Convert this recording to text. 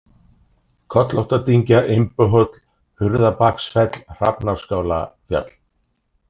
Kollóttadyngja, Imbuhóll, Hurðarbaksfell, Hrafnaskálafjall